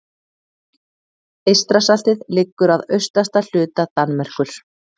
Eystrasaltið liggur að austasta hluta Danmerkur.